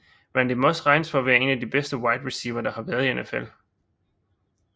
Randy Moss regnes for at være en af de bedste Wide Reciever der har været i NFL